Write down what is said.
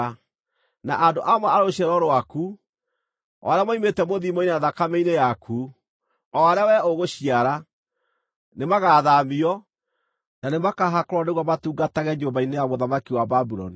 Na andũ amwe a rũciaro rwaku, o arĩa moimĩte mũthiimo-inĩ na thakame-inĩ yaku, o arĩa wee ũgũciara, nĩmagathaamio, na nĩmakaahakũrwo nĩguo matungatage nyũmba-inĩ ya mũthamaki wa Babuloni.”